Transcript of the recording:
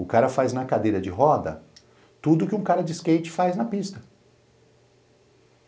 O cara faz na cadeira de roda tudo que um cara de skate faz na pista.